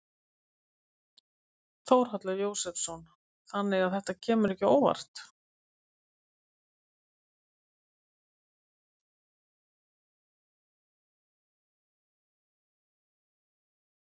Þórhallur Jósefsson: Þannig að þetta kemur ekki óvart?